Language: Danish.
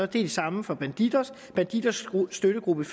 det samme for bandidos for bandidos støttegruppe